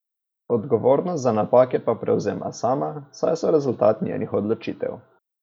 Odgovornost za napake pa prevzema sama, saj so rezultat njenih odločitev.